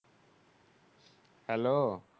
Hello